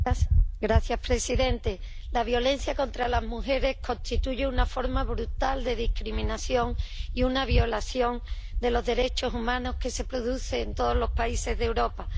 Señor presidente, la violencia contra las mujeres constituye una forma brutal de discriminación y una violación de los derechos humanos que se produce en todos los países de Europa.